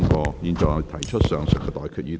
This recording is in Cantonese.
我現在向各位提出上述待決議題。